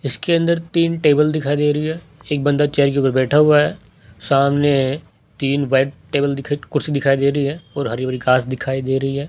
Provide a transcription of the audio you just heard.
इसके अंदर तीन टेबल दिखाई दे रही है एक बंदा चेयर के ऊपर बैठा हुआ है सामने तीन व्हाइट टेबल दिख कुर्सी दिखाई दे रही है और हरी भरी घास दिखाई दे रही है।